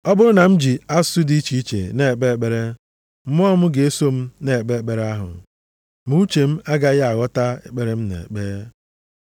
Ọ bụrụ na m ji asụsụ dị iche na-ekpe ekpere, mmụọ m ga-eso m na-ekpe ekpere ahụ, ma uche m agaghị aghọta ekpere m na-ekpe.